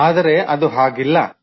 ಆದರೆ ಅದು ಹಾಗಿಲ್ಲ